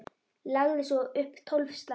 Lagði svo upp tólf slagi.